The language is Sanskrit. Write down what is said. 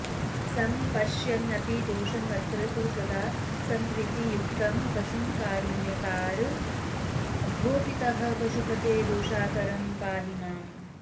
सम्पश्यन्नपि दोषमत्र तु सदा सम्प्रीतियुक्तं पशुं कारुण्याकर भो पितः पशुपते दोषाकरं पाहि माम्